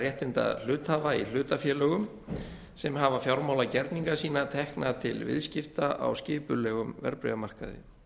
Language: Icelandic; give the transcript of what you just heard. réttinda hluthafa í hlutafélögum sem hafa fjármálagerninga sína tekna til viðskipta á skipulegum verðbréfamarkaði